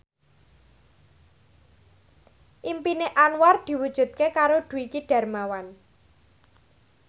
impine Anwar diwujudke karo Dwiki Darmawan